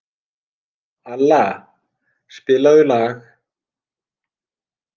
Alla, spilaðu lag.